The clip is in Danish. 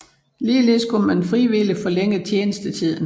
Ligeledes kunne man frivilligt forlænge tjenestetiden